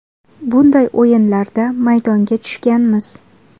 Bunday o‘yinlarda maydonga tushganmiz.